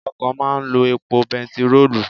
Ọkọ̀ máa ń lo epo bẹntiróòlù.